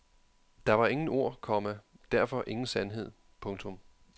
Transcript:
Der var ingen ord, komma derfor ingen sandhed. punktum